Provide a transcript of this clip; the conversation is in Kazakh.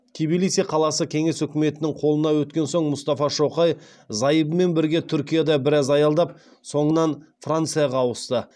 тбилиси қаласы кеңес өкіметінің қолына өткен соң мұстафа шоқай зайыбымен бірге түркияда біраз аялдап соңынан францияға ауысты